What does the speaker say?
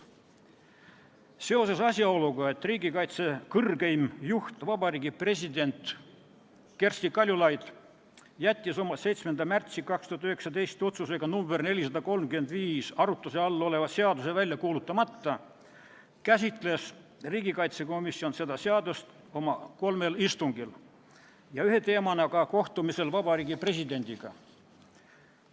Seoses asjaoluga, et riigikaitse kõrgeim juht Vabariigi President Kersti Kaljulaid jättis oma 7. märtsi 2019. aasta otsusega nr 435 arutluse all oleva seaduse välja kuulutamata, käsitles riigikaitsekomisjon seda seadust oma kolmel istungil ja ühe teemana ka kohtumisel Vabariigi Presidendiga.